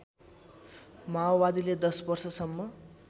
माओवादीले १० वर्षसम्म